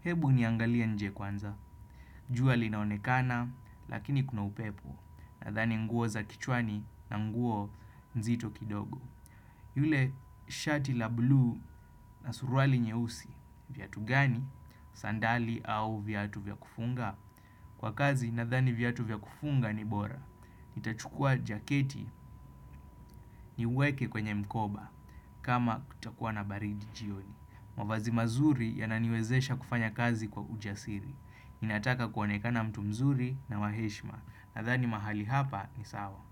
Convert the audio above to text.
Hebu niangalie nje kwanza. Jua linaonekana, lakini kuna upepo. Nathani nguo za kichwani na nguo nzito kidogo. Yule shati la bluu na suruali nyeusi. Viatu gani? Sandali au viatu vya kufunga? Kwa kazi, nathani viatu vya kufunga ni bora. Nitachukua jaketi niweke kwenye mkoba kama kutakuwa na baridi jioni. Mavazi mazuri yananiwezesha kufanya kazi kwa ujasiri. Ninataka kuoanekana mtu mzuri na wa heshima. Nathani mahali hapa ni sawa.